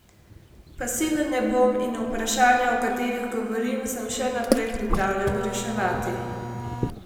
Pasiven ne bom in vprašanja o katerih govorim, sem še naprej pripravljen reševati.